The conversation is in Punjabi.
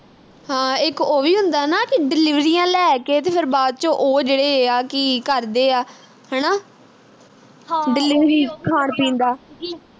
ਹਾਂ ਇਕ ਉਹ ਵੀ ਹੁੰਦਾ ਨਾ ਕਿ ਡੀਲਿਵਰੀਆਂ ਲੈ ਕੇ ਤੇ ਫਿਰ ਬਾਅਦ ਵਿਚ ਉਹ ਜਿਹੜੇ ਆ ਕੀ ਕਰਦੇ ਆ ਹਣਾ delivery ਖਾਣ ਪੀਣ ਦਾ